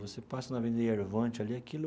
Você passa na Avenida Yervant ali, aquilo...